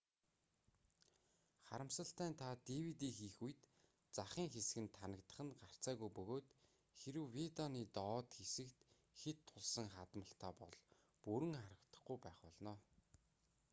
харамсалтай нь та dvd хийх үед захын хэсэг нь танагдах нь гарцаагүй бөгөөд хэрэв видеоны доод хэсэгт хэт тулсан хадмалтай бол бүрэн харагдахгүй байх болно